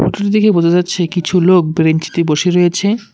হোটেলটি দেখে বোঝা যাচ্ছে কিছু লোক ব্রেঞ্চিতে বসে রয়েছে।